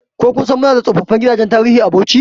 Ko kun sani muna da tsofin gidajen tarihi a Bauchi?